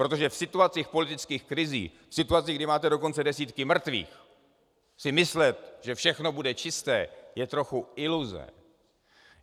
Protože v situacích politických krizí, v situacích, kdy máte dokonce desítky mrtvých, si myslet, že všechno bude čisté, je trochu iluze.